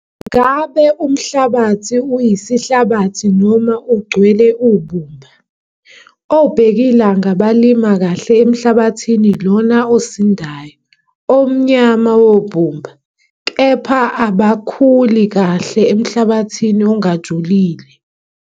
Ngabe umhlabathi uyisihlabathi noma ugcwele ubumba? Obhekilanga bamila kahle emhlabathini lona osindayo, omnyama wobumba, kepha abakhuli kahle emhlabathini ongajulile.